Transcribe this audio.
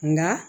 Nka